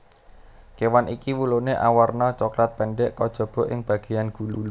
Kewan iki wulune awarna coklat pendhek kajaba ing bageyan gulu